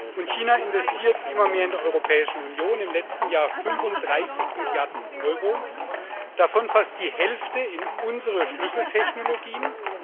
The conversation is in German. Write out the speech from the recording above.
Und China investiert immer mehr in der Europäischen Union im letzten Jahr 35 Milliarden Euro, davon fast die Hälfte in unsere Schlüsseltechnologien.